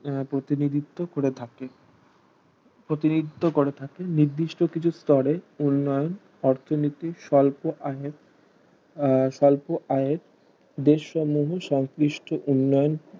আহা প্রতিনিধিত্ব করে থাকে প্রতিনিধিত্ব করে থাকে নির্দিষ্ট কিছু স্তরে উন্নয়ন অর্থনীতির স্বল্প আইয়ের স্বল্প আইয়ের দেশ সম্বন্ধ সংশ্লিষ্ট উন্নয়ন